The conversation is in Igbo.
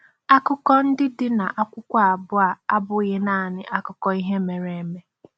Akụkọ ndị dị n’akwụkwọ abụọ a abụghị naanị akụkọ ihe mere eme.